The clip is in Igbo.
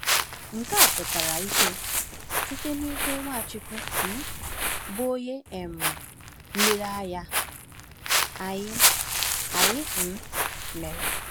Nke a pụtara ìhè site n’ihe Nwachukwu um bụ́ Onye um Nlereanya Anyị Anyị um mere.